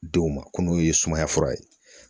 Denw ma ko n'u ye sumaya fura ye